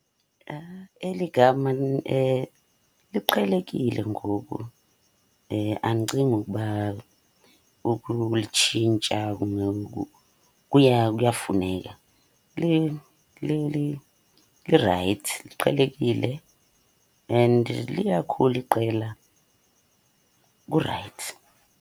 Eli gama liqhelekile ngoku, andicingi ukuba ukulitshintsha kuyafuneka. Lirayithi, liqhelekile and liyakhula iqela, kurayithi.